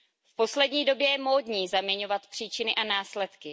V poslední době je módní zaměňovat příčiny a následky.